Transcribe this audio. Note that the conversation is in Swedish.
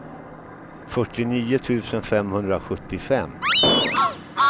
fyrtionio tusen femhundrasjuttiofem